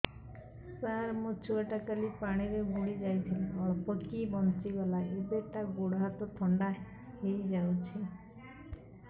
ସାର ମୋ ଛୁଆ ଟା କାଲି ପାଣି ରେ ବୁଡି ଯାଇଥିଲା ଅଳ୍ପ କି ବଞ୍ଚି ଗଲା ଏବେ ତା ଗୋଡ଼ ହାତ ଥଣ୍ଡା ହେଇଯାଉଛି